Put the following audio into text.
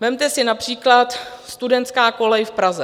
Vezměte si například studentskou kolej v Praze.